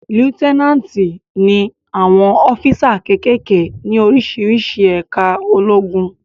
Líútínátì ni àwọn ọ́físà kékèké ní oríṣiríṣi ẹ̀ká ológun